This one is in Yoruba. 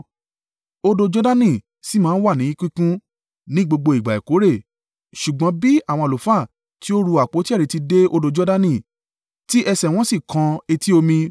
Odò Jordani sì máa ń wà ní kíkún ní gbogbo ìgbà ìkórè. Ṣùgbọ́n bí àwọn àlùfáà tí ó ru àpótí ẹ̀rí ti dé odò Jordani tí ẹsẹ̀ wọn sì kan etí omi,